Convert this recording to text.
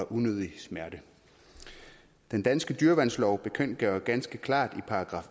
unødig smerte den danske dyreværnslov bekendtgør ganske klart i §